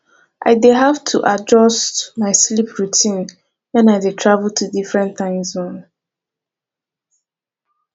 i dey have to adjust my sleep routine when i dey travel to different time zones